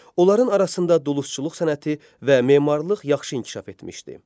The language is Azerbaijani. Onların arasında dulusçuluq sənəti və memarlıq yaxşı inkişaf etmişdi.